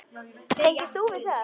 Tengir þú við það?